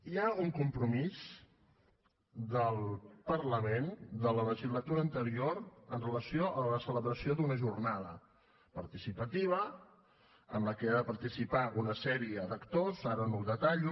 hi ha un compromís del parlament de la legislatura anterior amb relació a la celebració d’una jornada participativa en la qual han de participar una sèrie d’actors ara no ho detallo